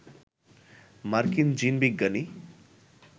মার্কিন জিনবিজ্ঞানী